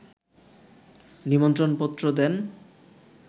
নিমন্ত্রণপত্র দেন